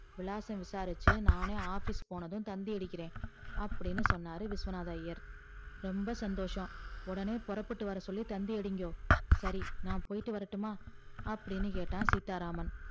விலாசம் விசாரிச்சி நானே office போனதும் தந்தி அடிக்கிற அப்டின்னு சொன்னாரு விஸ்வநாதர் ஐயர் ரொம்ப சந்தோஷம் உடனே போறபுட்டு வரசொல்லி தந்தி அடிக்கோ சரி நான் போயிட்டு வரட்டும்மா அப்டின்னு கேட்டா சீத்தாராமன்